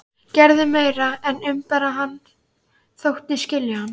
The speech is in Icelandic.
Gerði meira en að umbera hann: þóttist skilja hann.